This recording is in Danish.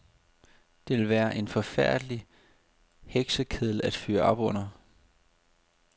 Det ville være en forfærdelig heksekedel at fyre op under.